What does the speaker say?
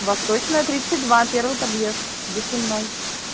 восточная тридцать два первый подъезд до сенной